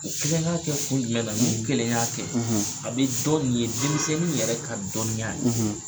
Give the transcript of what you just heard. Kelen ka kɛ kun jumɛn na ni kelenya kɛ; ; a bɛ dɔn nin ye denmisɛnniw yɛrɛ ka dɔnniya ye;